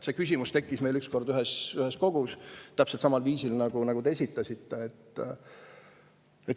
See küsimus tekkis meil ükskord ühes kogus täpselt samal viisil, nagu te esitasite.